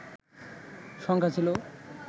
সংখ্যা ছিল